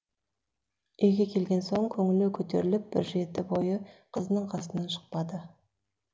үйге келген соң көңілі көтеріліп бір жеті бойы қызының қасынан шықпады